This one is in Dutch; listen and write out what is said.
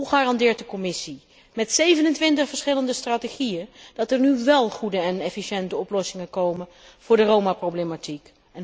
Hoe garandeert de Commissie, met 27 verschillende strategieën, dat er nu wel goede en efficiënte oplossingen komen voor de Roma problematiek?